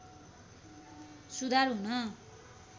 सुधार हुन